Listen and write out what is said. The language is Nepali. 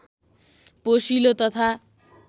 पोषिलो तथा